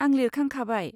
आं लिरखांखाबाय।